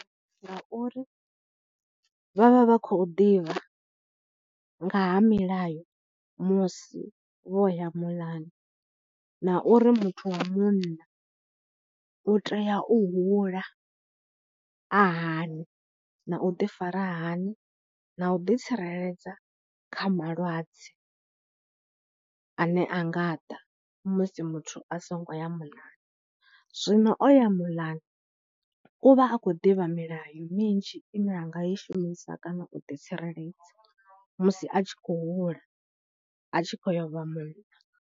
Ngauri vha vha vha khou ḓivha nga ha milayo musi vho ya muḽani na uri muthu wa munna u tea u hula a hani na u ḓifara hani na u ḓitsireledza kha malwadze ane a nga ḓa musi muthu a songo ya muḽani. Zwino o ya muḽani, u vha a khou ḓivha milayo minzhi ine a nga i shumisa kana u ḓitsireledza musi a tshi khou hula a tshi khou ya u vha munna.